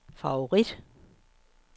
favorit